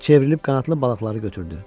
Çevrilib qanadlı balıqları götürdü.